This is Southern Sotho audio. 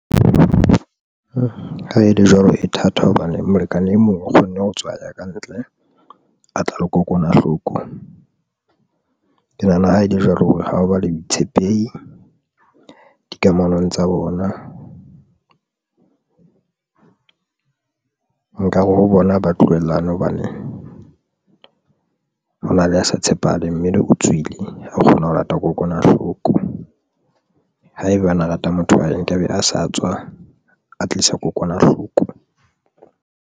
Ha e le jwalo, e thata hobane molekane e mong o kgonne ho tswa aya ka ntle a tla le kokwanahloko ke nahana ha e le jwalo, hore ha o ba le boitshepehi dikamanong tsa bona, nkare ho bona ba tlohalane hobane hona le a sa tshepahale. Mme o tswile a kgona ho lata kokwanahloko haebane a rata motho wane nkabe a sa tswa a tlisa kokwanahloko.